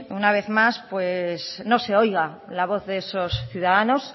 una vez más no se oiga la voz de esos ciudadanos